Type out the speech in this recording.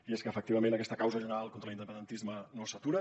i és que efectivament aquesta causa general contra l’independentisme no s’atura